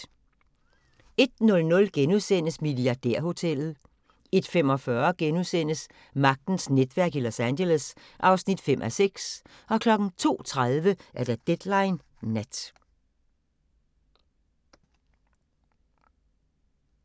01:00: Milliardærhotellet * 01:45: Magtens netværk i Los Angeles (5:6)* 02:30: Deadline Nat